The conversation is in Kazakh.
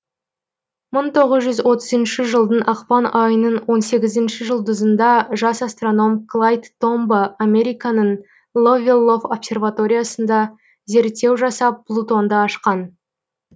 мы тоғыз жүз отызыншы жылдың ақпан айының он сегізінші жұлдызында жас астроном клайд томбо американың ловвелов обсерваториясында зерртеу жасап плутонды ашқан